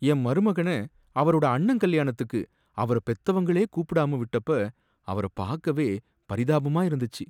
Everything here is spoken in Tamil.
என் மருமகனை அவரோட அண்ணன் கல்யாணத்துக்கு அவரபெத்தவங்களே கூப்பிடாம விட்டப்ப அவர பாக்கவே பரிதாபமா இருந்துச்சி.